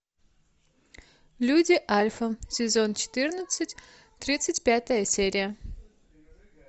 люди альфа сезон четырнадцать тридцать пятая серия